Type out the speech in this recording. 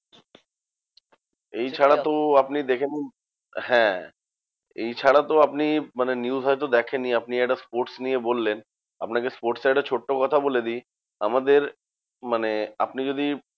এই ছাড়া তো আপনি দেখে নিন হ্যাঁ, এই ছাড়া তো আপনি মানে news হয়তো দেখেননি, আপনি একটা sports নিয়ে বললেন। আপনাকে sports এর একটা ছোট্ট কথা বলে দিই, আমাদের মানে আপনি যদি